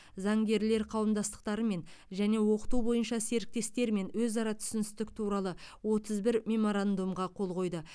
заңгерлер қауымдастықтарымен және оқыту бойынша серіктестермен өзара түсіністік туралы отыз бір меморандумға қол қойды